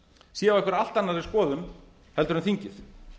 sé á einhverri allt annarri skoðun heldur en þingið